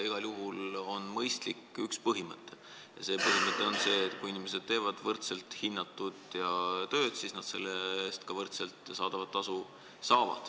Igal juhul on mõistlik üks põhimõte ja see põhimõte on see, et kui inimesed teevad võrdselt hinnatud tööd, siis nad saavad selle eest ka võrdset tasu.